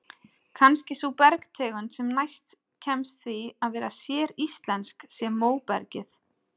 Kannski sú bergtegund sem næst kemst því að vera séríslensk sé móbergið.